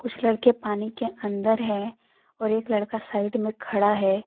कुछ लड़के पानी के अंदर है और एक लड़का साइड में खड़ा है।